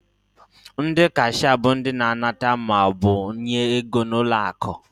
Ndị kashịa bụ ndị na-anata maọbụ nye ego n'ụlọakụ.